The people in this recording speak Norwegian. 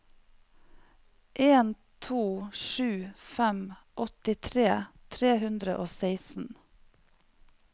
en to sju fem åttitre tre hundre og seksten